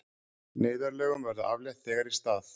Neyðarlögum verði aflétt þegar í stað